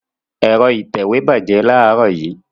Ẹ̀rọ ìtẹ̀wé bàjẹ́ láàárọ̀ yìí.